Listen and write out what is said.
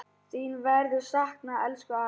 Þín verður saknað, elsku afi.